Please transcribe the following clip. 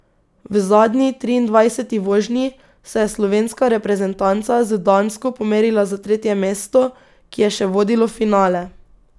V zadnji, triindvajseti vožnji, se je slovenska reprezentanca z Dansko pomerila za tretje mesto, ki je še vodilo v finale.